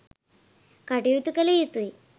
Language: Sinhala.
කටයුතු කළ යුතුයි.